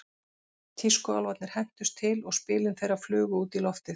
Tískuálfarnir hentust til og spilin þeirra flugu út í loftið.